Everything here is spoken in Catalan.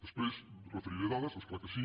després referiré dades és clar que sí